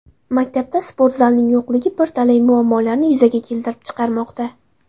Maktabda sportzalning yo‘qligi bir talay muammolarni yuzaga keltirib chiqarmoqda.